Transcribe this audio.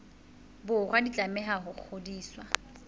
borwa di tlameha ho ngodiswa